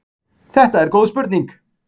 Þetta er góð spurning!